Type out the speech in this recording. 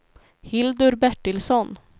Hildur Bertilsson